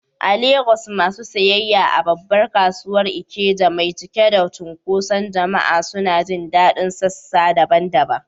A Legas, masu sayayya a babbar kasuwar Ikeja mai cike da cunkoson jama’a suna jin daɗin sassa daban-daban.